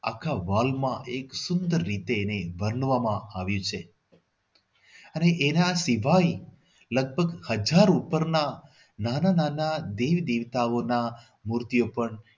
આખા વાલમાં સુંદર રીતે એને બનવામાં આવ્યું છે. અને એના સિવાય લગભગ હજાર ઉપરના નાના નાના દેવ દેવતાઓના મૂર્તિઓ પણ